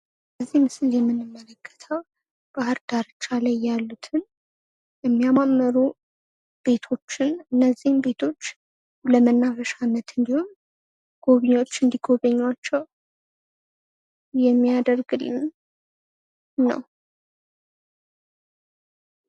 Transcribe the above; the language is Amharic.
በዚህ ምስል የምንመለከተው ባህር ዳርቻ ያሉትን የሚያማምሩ ቤቶችን እነዚህን ቤቶች ለመናፈሻነት ጎብኝዎች እንዲጎበኞቸው የሚያደርግልን ነው።